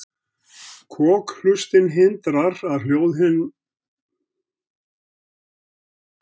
Kokhlustin hindrar að hljóðhimnan rifni þegar sterkar sveiflur skella á henni.